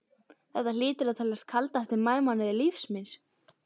Þetta hlýtur að teljast kaldasti maí mánuður lífs míns.